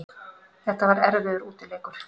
Þetta var erfiður útileikur